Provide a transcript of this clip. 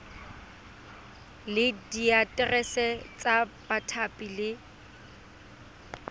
le diaterese tsa bathapi le